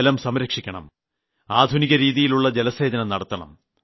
ജലം സംരക്ഷിക്കണം ആധുനികരീതിയിലുള്ള ജലസേചനം നടത്തണം